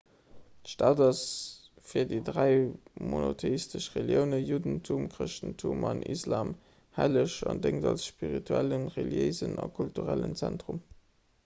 d'stad ass fir déi dräi monotheistesch reliounen juddentum chrëschtentum an den islam helleg an déngt als spirituellen reliéisen a kulturellen zentrum